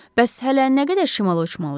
Bəs hələ nə qədər şimala uçmalıyıq?